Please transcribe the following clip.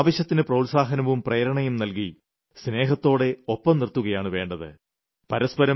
അവർക്ക് ആവശ്യത്തിന് പ്രോത്സാഹനവും പ്രേരണയും നൽകി സ്നേഹത്തോടെ ഒപ്പം നിർത്തുകയാണ് വേണ്ടത്